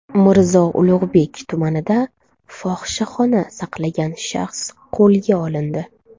Mirzo Ulug‘bek tumanida fohishaxona saqlagan shaxs qo‘lga olindi.